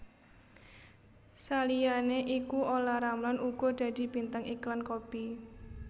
Saliyané iku Olla Ramlan uga dadi bintang iklan kopi